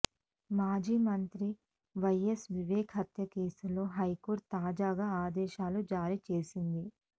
మాజీ మంత్రి వైయస్ వివేకా హత్య కేసులో హైకోర్టు తాజాగా ఆదేశాలు జారీ చేసింది